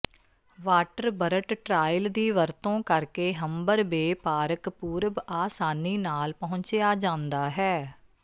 ਵਾਟਰਬਰਟ trail ਦੀ ਵਰਤੋਂ ਕਰਕੇ ਹੰਬਰ ਬੇ ਪਾਰਕ ਪੂਰਬ ਆਸਾਨੀ ਨਾਲ ਪਹੁੰਚਿਆ ਜਾਂਦਾ ਹੈ